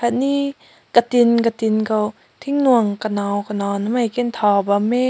me katin katin kaw ting mung kanow kanow ne tao bam meh.